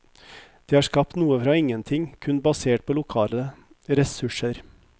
De har skapt noe fra ingenting, kun basert på lokale ressurser.